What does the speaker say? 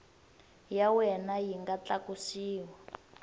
ya wena yi nga tlakusiwa